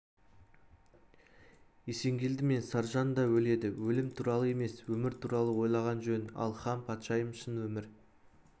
есенгелді мен саржан да өледі өлім туралы емес өмір туралы ойлаған жөн ал хан патшайым шын өмір